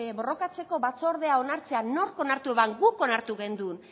borrokatzeko batzordea onartzea nork onartu zuen guk onartu genuen